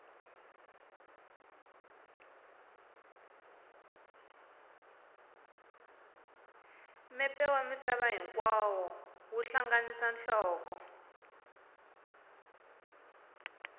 mepe wa misava hinkwayo wu hlanganisa nhloko